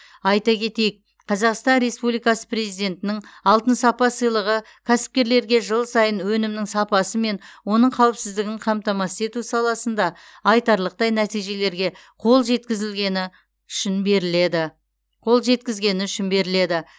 айта кетейік қазақстан республикасы президентінің алтын сапа сыйлығы кәсіпкерлерге жыл сайын өнімнің сапасы мен оның қауіпсіздігін қамтамасыз ету саласында айтарлықтай нәтижелерге қол жеткізілгені үшін беріледі қол жеткізгені үшін беріледі